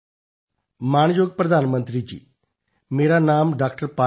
phone call ਮਾਣਯੋਗ ਪ੍ਰਧਾਨ ਮੰਤਰੀ ਜੀ ਮੇਰਾ ਨਾਮ ਡਾ